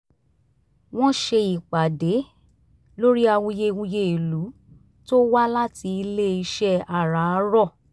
wọ́n ṣe ìpàdé lórí awuyewuye ìlú tó wá láti ile iṣẹ́ àràárọ̀